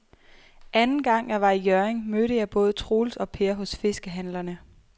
Anden gang jeg var i Hjørring, mødte jeg både Troels og Per hos fiskehandlerne.